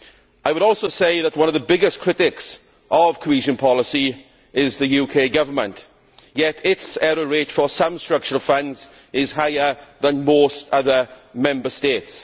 I would also say that one of the biggest critics of cohesion policy is the UK government, yet its error rate for some structural funds is higher than most other Member States.